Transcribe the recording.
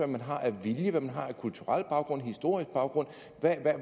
man har af vilje hvad man har af kulturel baggrund historisk baggrund